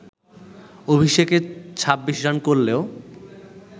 অভিষেকে ২৬ রান করলেও